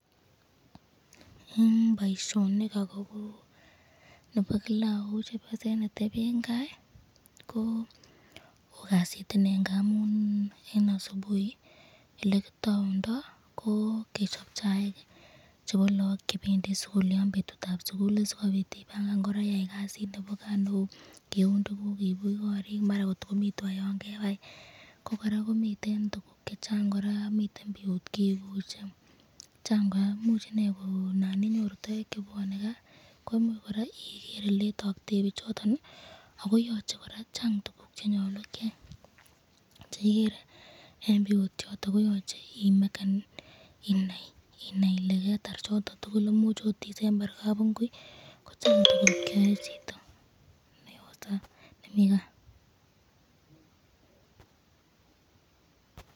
Eng boisyonik akobo nebo Kila eng chepyoset neteben kas ,oo Kasitinee eng kaa ngamun eng asubuhi elekitoundo kechob chaik, chebo lagok chebendi sukul yon betutab sukul sikobit ,akoyai kasit nebo kaa neu kiuno tukuk kius korik ,maran miten tukuk cheu.